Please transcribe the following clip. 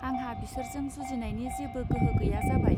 आंहा बिसोरजों जुजिनायनि जेबो गोहो गैया जाबाय